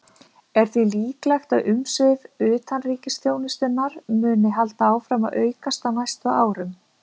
Er því líklegt að umsvif utanríkisþjónustunnar muni halda áfram að aukast á næstu árum.